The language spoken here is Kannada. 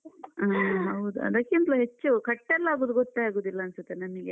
ಆ ಹೌದು ಅದಕ್ಕಿಂತ್ಲು ಹೆಚ್ಚು cut ಎಲ್ಲ ಆಗುದು ಗೊತ್ತೇ ಆಗುದಿಲ್ಲ ಅನ್ಸುತ್ತೆ ನನಿಗೆ.